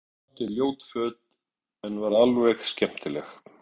Hún átti ljót föt en var alveg skemmtileg.